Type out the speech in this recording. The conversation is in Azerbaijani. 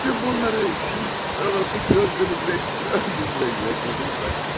Bütün bunları şu kör olan gözlərimlə gördüm və yaşadım mən.